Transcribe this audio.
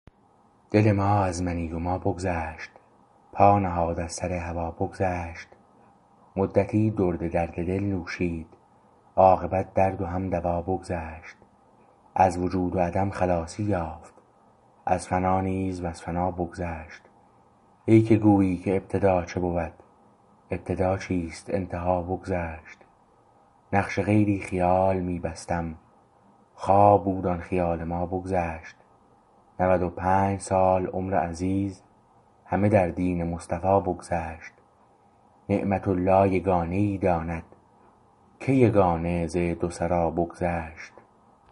دل ما از منی و ما بگذشت پا نهاد از سر هوا بگذشت مدتی درد درد دل نوشید عاقبت درد و هم دوا بگذشت از وجود و عدم خلاصی یافت از فنا نیز وز فنا بگذشت ای که گویی که ابتدا چه بود ابتدا چیست انتها بگذشت نقش غیری خیال می بستم خواب بود آن خیال ما بگذشت نود و پنج سال عمر عزیز همه در دین مصطفی بگذشت نعمت الله یگانه ای داند که یگانه ز دو سرا بگذشت